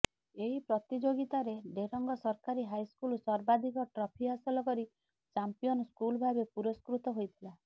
ଏହି ପ୍ରତିଯୋଗିତାରେ ଡେରେଙ୍ଗ ସରକାରୀ ହାଇସ୍କୁଲ ସର୍ବାଧକ ଟ୍ରଫି ହାସଲ କରି ଚାମ୍ପିୟନ ସ୍କୁଲ ଭାବେ ପୁରସ୍କୃତ ହୋଇଥିଲା